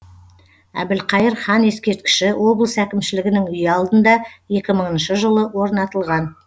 әбілқайыр хан ескерткіші облыс әкімшілігінің үйі алдында екімыңыншы жылы орнатылған